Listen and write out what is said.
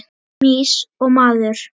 Mýs og maður.